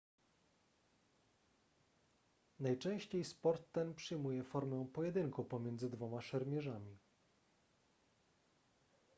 najczęściej sport ten przyjmuje formę pojedynku pomiędzy dwoma szermierzami